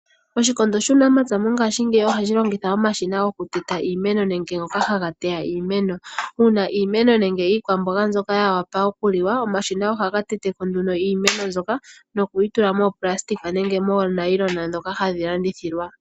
Oshikondo shuunamapya mongashingeyi ohashi longitha omashina gokuteta iimeno nenge goka haga teya iimeno. Uuna iimeno nenge iikwamboga mbyoka ya wapa okuliwa, omashina ohaga teteko nduno iimeno mbyoka, nokuyi moonayilona dhoka hadhi landililwa.